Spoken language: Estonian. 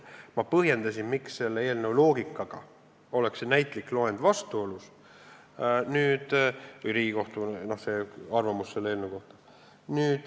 Ma põhjendasin, miks selle eelnõu loogikaga oleks see vastuolus, see näitlik loend või Riigikohtu arvamus selle eelnõu kohta.